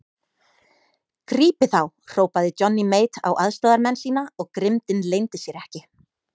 Grípið þá hrópaði Johnny Mate á aðstoðarmenn sína og grimmdin leyndi sér ekki.